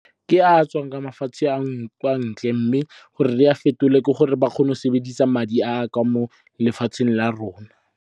Ke a tswang kwa mafatshe a kwa ntle. Mme gore re a fetole, ke gore ba kgone go sebedisa madi a kwa mo lefatsheng la rona.